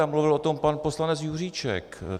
A mluvil o tom pan poslanec Juříček.